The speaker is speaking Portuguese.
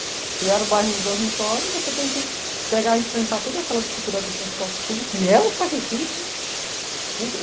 Criaram o bairro dos dormitórios e você tem que enfrentar toda aquela dificuldade do transporte público, que é um sacrifício.